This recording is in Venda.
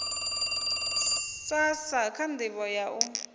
srsa kha ndivho ya u